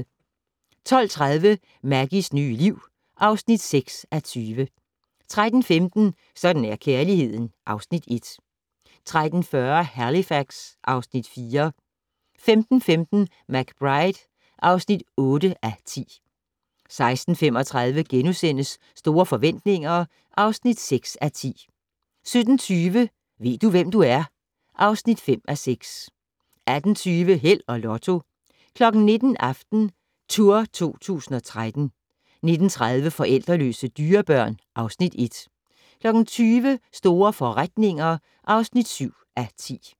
12:30: Maggies nye liv (6:20) 13:15: Sådan er kærligheden (Afs. 1) 13:40: Halifax (Afs. 4) 15:15: McBride (8:10) 16:35: Store forretninger (6:10)* 17:20: Ved du, hvem du er? (5:6) 18:20: Held og Lotto 19:00: AftenTour 2013 19:30: Forældreløse dyrebørn (Afs. 1) 20:00: Store forretninger (7:10)